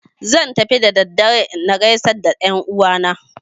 Zan fita da dare na gaisar da 'yan uwa na